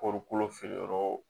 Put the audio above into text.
feere yɔrɔ